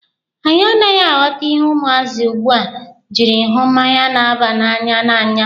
Anyị anaghị aghọta ihe ụmụazị ugbua jiri hụ mmanya na-aba na'anya n'anya.